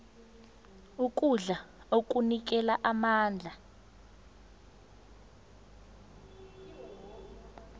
ukudla okunikela amandla